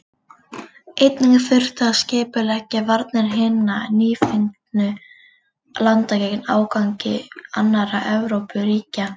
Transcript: Einnig þurfti að skipuleggja varnir hinna nýfengnu landa gegn ágangi annarra Evrópuríkja.